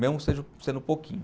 Mesmo seja, sendo pouquinho.